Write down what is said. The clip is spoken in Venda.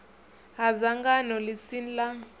ha dzangano ḽi si ḽa